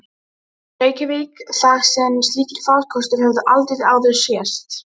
Stofuskápurinn og lúin kommóða við einn vegginn.